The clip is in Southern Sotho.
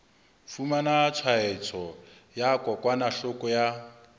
fumana tshwaetso ya kokwanahloko ya